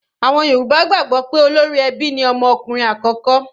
Àwọn Yorùbá gbàgbọ́ pé olórí ẹbí ni ọmọ ọkùnrin àkọ́kọ́.